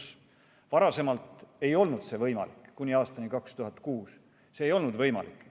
Varem ei olnud võimalik, kuni aastani 2006 ei olnud see võimalik.